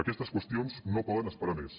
aquestes qüestions no poden esperar més